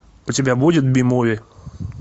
у тебя будет би муви